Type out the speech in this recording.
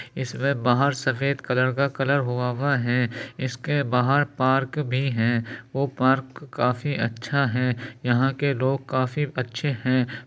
इसमें बाहर सफेद कलर का कलर हुआ हुआ है। इसके बाहर पार्क भी है। वो पार्क काफी अच्छा है। यहाँ के लोग काफी अच्छे हैं।